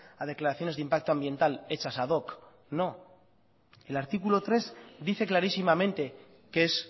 a declaraciones de impacto ambiental hechas ad hoc no el artículo tres dice clarísimamente qué es